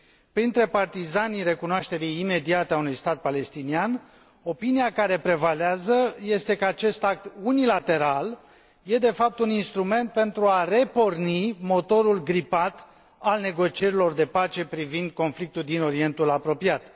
Printre partizanii recunoașterii imediate a unui stat palestinian, opinia care prevalează este că acest act unilateral este de fapt un instrument pentru a reporni motorul gripat al negocierilor de pace privind conflictul din Orientul Apropiat.